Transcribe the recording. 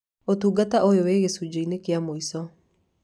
Ũtungata ũyũ wĩ gĩcunjĩĩni kĩa mũico.